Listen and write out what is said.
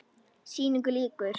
Sýningu lýkur.